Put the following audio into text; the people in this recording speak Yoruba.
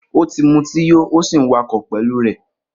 Oti mútì yò òsí ń wà kọ pẹlu rẹ.